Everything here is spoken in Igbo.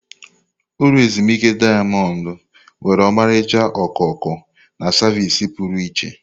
Ulọ ezimuike dayamond nwere ọmarịcha okooko na savịsị pụrụ iche.